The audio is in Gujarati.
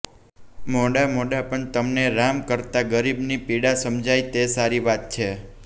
મોડા મોડા પણ તમને રામ કરતા ગરીબની પીડા સમજાઈ તે સારી વાત છે